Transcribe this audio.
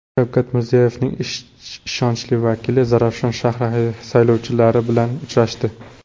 Shavkat Mirziyoyevning ishonchli vakili Zarafshon shahri saylovchilari bilan uchrashdi.